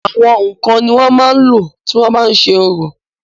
àwọn ǹkan ni wọ́n máa n lò tí wọ́n bá ń ṣe orò